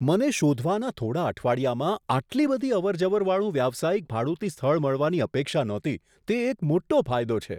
મને શોધવાના થોડા અઠવાડિયામાં આટલી બધી અવરજવર વાળું વ્યવસાયિક ભાડુતી સ્થળ મળવાની અપેક્ષા નહોતી તે એક મોટો ફાયદો છે.